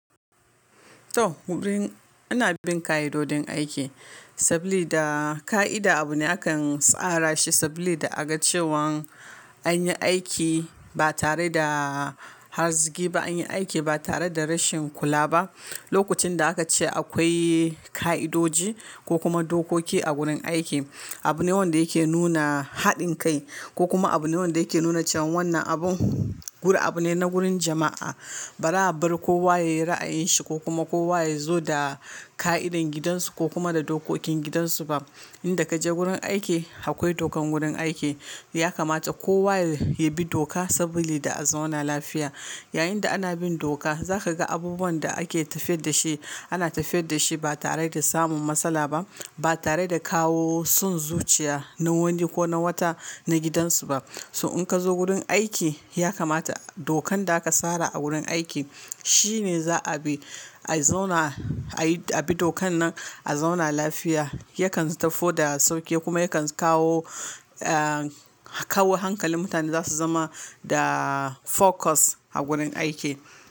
To, wurin ana bin ka'idodin aiki saboda ka'ida abu ne akan tsara shi saboda agacewan an yi aiki ba tare da harshe ba, an yi aiki ba tare da rashin kula ba. Lokacin da aka ce akwai ka'idoji ko kuma dokoki a gurin aiki, abu ne wanda yake nuna haɗin kai ko kuma abu ne wanda yake nuna cewan wannan abun gudu abu ne na gurin jama'a. Ba ra bari kowa yayi ra'ayin shi ko kuma kowa yazo da ka'idar gidansu ko kuma da dokokin gidansu ba. Inda kaje gurin aiki akwai dokan gurin aiki. Ya kamata kowa ya bi doka saboda a zauna lafiya. Yayinda ana bin doka zaka ga abubuwan da ake tafiyar da shi ana tafiyar da shi ba tare da samun matsala ba, ba tare da kawo son zuciya na wani ko na wata na gidansu ba. So in kazo gurin aiki ya kamata dokan da aka tsara a gurin aiki shine za'a bi. A zauna, a bi dokan nan, a zauna lafiya yakan sauke kuma yakan kawo, ah, kawo hankalin mutane zasu zama da focus a gurin aiki.